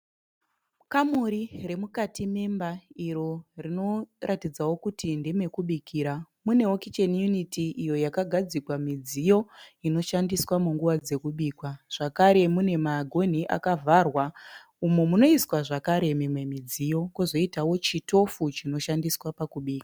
Kamuri remukati memba iro rinoratidzawo kuti ndeme kubikira. Munewo kicheni yuniti iyo yakagadzikwa midziyo inoshandiswa munguva dzekubika. Zvakare mune magonhi akavhara umo munoiswa zvakare zvidziyo. Kwozoitawo chitofu chinoshandiswa pakubika.